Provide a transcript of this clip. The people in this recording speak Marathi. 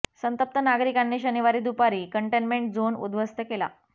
संतप्त नागरिकांनी शनिवारी दुपारी कंटेनमेंट झोन उद्ध्वस्त केला